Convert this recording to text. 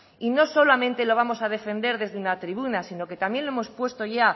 y no solamente lo vamos a defender desde una tribuna sino que también lo hemos puesto ya